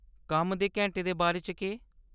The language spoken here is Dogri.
कम्मै दे घैंटे दे बारे च केह्‌‌ ?